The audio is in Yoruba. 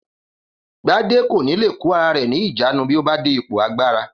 Gbadé kò ní lè kó ara rè̩ ní ìjánu bí ó bá dé ipò agbára